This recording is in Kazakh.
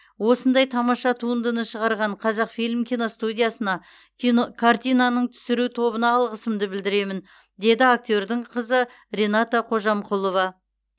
осындай тамаша туындыны шығарған қазақфильм киностудиясына кино картинаның түсіру тобына алғысымды білдіремін деді актердің қызы рената қожамқұлова